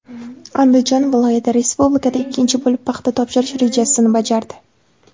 Andijon viloyati respublikada ikkinchi bo‘lib paxta topshirish rejasini bajardi.